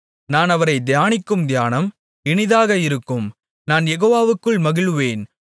நான் அவரைத் தியானிக்கும் தியானம் இனிதாக இருக்கும் நான் யெகோவாவுக்குள் மகிழுவேன்